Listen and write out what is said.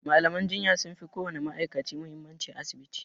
malaman jinya sunfi ko wani ma'aikaci muhimmanci a asibiti